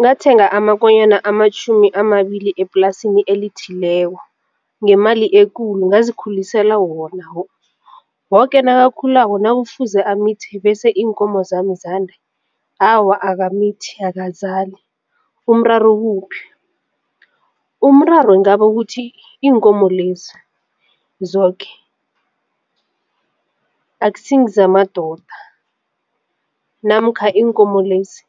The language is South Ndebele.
Ngathenga amakonyana amatjhumi amabili eplasini elithileko ngemali ekulu ngazikhulisela wona woke nakakhulako nakufuze amithi bese iinkomo zami ezande awa akamithi akazali umraro ukuphi? Umraro ngaba kuthi iinkomo lezi zoke akusingezamadoda namkha iinkomo lezi